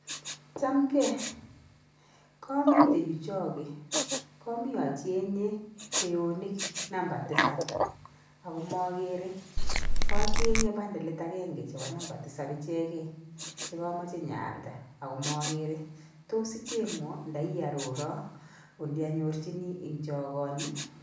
Chamgei, komitei yu choge, komii achenye kweyonik namba tisab ako mokerei. Kachenyei bandalit agenge chebo number tisab ichegei chekomochei nyoalda ako magerei, tos icheng'wo? nda iiarora olianyorjini eng chogoni?